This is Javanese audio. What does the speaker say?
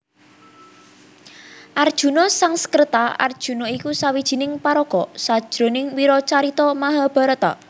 Arjuna Sangskreta Arjuna iku sawijining paraga sajroning wiracarita Mahabharata